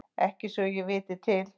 Ekki svo ég viti til.